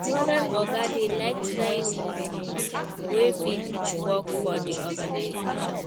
Modern oga dey like try new things wey fit work for the organisation